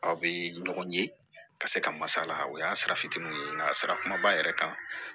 Aw bɛ ɲɔgɔn ye ka se ka masala o y'a sara fitininw ye nka sarakuma b'a yɛrɛ kan